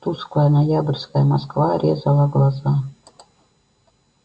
тусклая ноябрьская москва резала глаза